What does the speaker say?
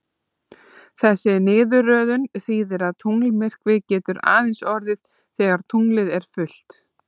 Þessi niðurröðun þýðir að tunglmyrkvi getur aðeins orðið þegar tunglið er fullt.